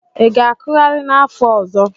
Ị ga-akụgharị n'afọ ọzọ?